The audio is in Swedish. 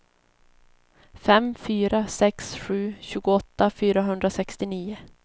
fem fyra sex sju tjugoåtta fyrahundrasextionio